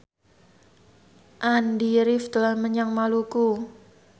Andy rif dolan menyang Maluku